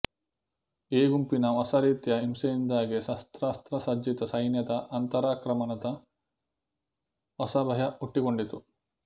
ಈ ಗುಂಪಿನ ಹೊಸ ರೀತಿಯ ಹಿಂಸೆಯಿಂದಾಗಿ ಶಸ್ತ್ರಾಸ್ತ್ರಸಜ್ಜಿತ ಸೈನ್ಯದ ಅಂತರಾಕ್ರಮಣದ ಹೊಸ ಭಯ ಹುಟ್ಟಿಕೊಂಡಿತು